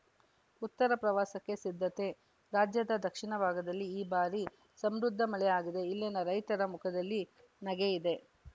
ಉತ್ತರ ಪ್ರವಾಸಕ್ಕೆ ಸಿದ್ಧತೆ ರಾಜ್ಯದ ದಕ್ಷಿಣ ಭಾಗದಲ್ಲಿ ಈ ಬಾರಿ ಸಮೃದ್ಧ ಮಳೆಯಾಗಿದೆ ಇಲ್ಲಿನ ರೈತರ ಮುಖದಲ್ಲಿ ನಗೆ ಇದೆ